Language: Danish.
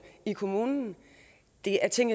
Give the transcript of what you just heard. i kommunen det er ting